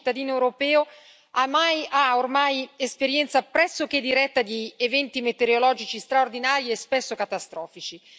Ogni cittadino europeo ha ormai esperienza pressoché diretta di eventi metereologici straordinari e spesso catastrofici.